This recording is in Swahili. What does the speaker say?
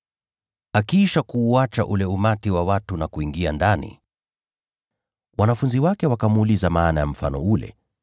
Akiisha kuuacha ule umati wa watu na kuingia ndani, wanafunzi wake wakamuuliza maana ya mfano ule.